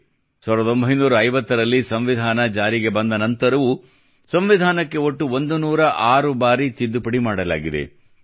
1950ರಲ್ಲಿ ಸಂವಿಧಾನ ಜಾರಿಗೆ ಬಂದ ನಂತರವೂ ಸಂವಿಧಾನಕ್ಕೆ ಒಟ್ಟು 106 ಬಾರಿ ತಿದ್ದುಪಡಿ ಮಾಡಲಾಗಿದೆ